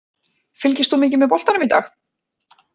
Fylgist þú mikið með boltanum í dag?